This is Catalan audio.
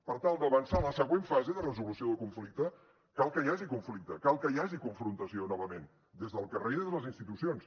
per tal d’avançar a la següent fase de resolució del conflicte cal que hi hagi conflicte cal que hi hagi confrontació novament des del carrer i des de les institucions